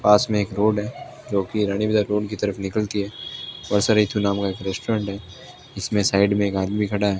पास में एक रोड है जोकि रानी बाजार रोड की तरफ निकलती है वर्षा ऋतु नाम का एक रेस्टोरेंट है इसमें साइड में एक आदमी खड़ा --